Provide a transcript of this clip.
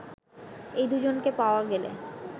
এই দুজনকে পাওয়া গেলে